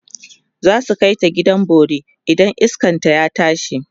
zasu kaita gidan bori idan iskan ta ya tashi